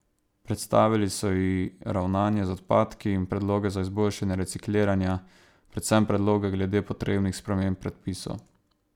Predstavili so ji ravnanje z odpadki in predloge za izboljšanje recikliranja, predvsem predloge glede potrebnih sprememb predpisov.